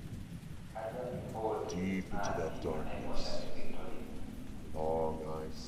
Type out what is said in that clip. Kaja impooti natii enaiposha e Victoria